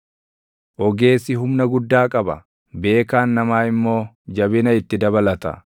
Ogeessi humna guddaa qaba; beekaan namaa immoo jabina itti dabalata;